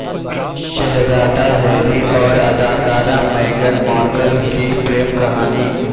شہزادہ ہیری اور اداکارہ میگن مارکل کی پریم کہانی